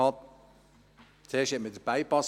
Zuerst baute man den Bypass.